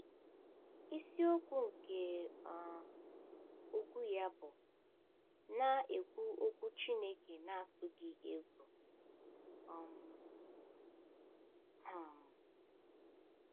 Isiokwu nke um okwu ya bụ “ Na - ekwu Okwu Chineke n’Atụghị Egwu um. ” um